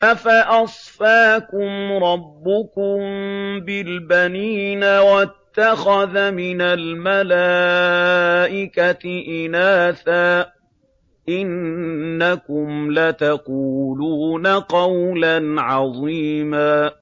أَفَأَصْفَاكُمْ رَبُّكُم بِالْبَنِينَ وَاتَّخَذَ مِنَ الْمَلَائِكَةِ إِنَاثًا ۚ إِنَّكُمْ لَتَقُولُونَ قَوْلًا عَظِيمًا